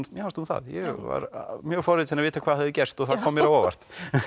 mér fannst hún það ég var mjög forvitinn að vita hvað hafði gerst og það kom mér á óvart